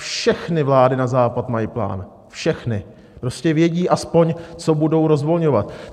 Všechny vlády na západ mají plán, všechny, prostě vědí aspoň, co budou rozvolňovat.